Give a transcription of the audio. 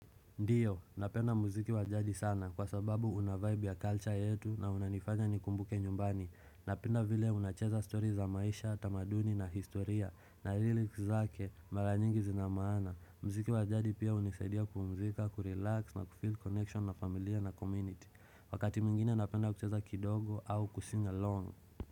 Ndio, napenda muziki wajadi sana kwa sababu una vibe ya culture yetu na unanifanya nikumbuke nyumbani. Napenda vile unacheza story za maisha, tamaduni na historia na lyrics zake, mara nyingi zinamaana. Mziki wajadi pia unisaidia kupumzika, kurelax na kufil connection na familia na community. Wakati mingine napenda kucheza kidogo au kusing along.